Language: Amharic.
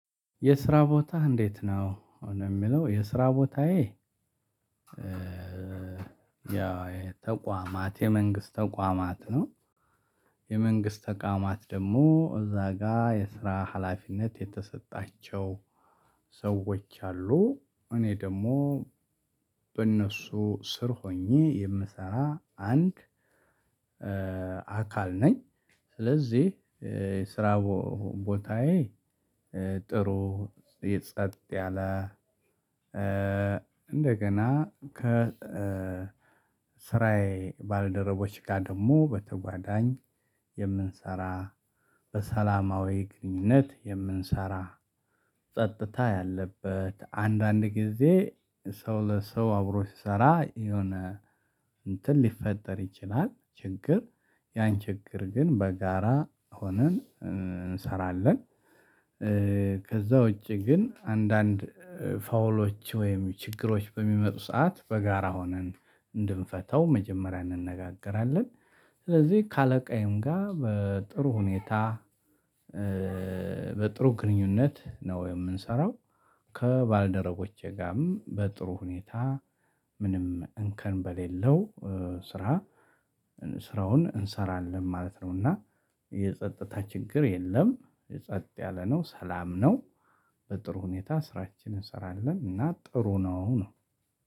የስራ ቦታ እንዴት? ነው ነው የሚለው የስራ ቦታዬ ያው ተቋማት የመንግስት ተቋማት ነው። የመንግስት ተቋማት ደግሞ እዛ ጋር የስራ ሀላፊነት የተሰጣቸው ሰዎች አሉ እኔ ደግሞ በእነሱ ስር ሆኜ የምሰራ አንድ አካል ነኝ። ስለዚህ ስራ ቦታዬ ጥሩ የጸጥ ያለ እንደገና ከ ስራየ ባልደረቦች ጋር ደግሞ በተጓዳኝ የምንሰራ በሰላማዊ ግንኙነት የምንሰራ ጸጥታ ያለበት አንዳንድ ጊዜ ሰው ለሰው አብሮ ሲሰራ የሆነ እንትን ሊፈጠር ይችላል ችግር ያን ችግር ግን በጋራ ሆነን እንሰራለን። ከዛ ውጪ ግን አንዳንድ ፋውሎች ወይም ችግሮች በሚመጡ ሰዓት በጋራ ሆነን እንድንፈተው መጀመሪያ እንነጋገራለን። ስለዚህ ከአለቃዬም ጋር በጥሩ ሁኔታ በጥሩ ግንኙነት ነው የምንሰራው። ከባልደረቦቼ ጋርም በጥሩ ሁኔታ ምንም እንከን በሌለው ስራ ስራውን እንሰራለን ማለት ነው። እና የጸጥታ ችግር የለም የጸጥ ያለ ነው ሰላም ነው። በጥሩ ሁኔታ ስራችንን እንሰራለን እና ጥሩ ነው ነው